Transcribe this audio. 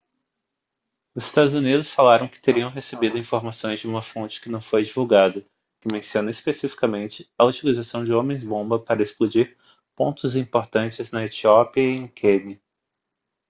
os estados unidos falam que teriam recebido informações de uma fonte que não foi divulgada que menciona especificamente a utilização de homens-bomba para explodir pontos importantes na etiópia e em quênia